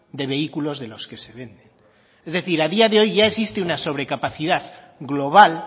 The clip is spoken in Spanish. de vehículos de los que se venden es decir a día de hoy ya existe una sobrecapacidad global